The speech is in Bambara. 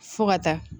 Fo ka taa